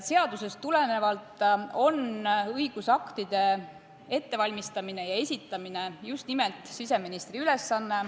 Seadusest tulenevalt on õigusaktide ettevalmistamine ja esitamine just nimelt siseministri ülesanne.